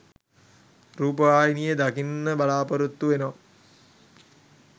රූපවාහිනියේ දකින්න බලාපොරොත්තු වෙනව